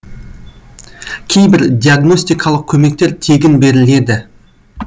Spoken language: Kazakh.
кейбір диагностикалық көмектер тегін беріледі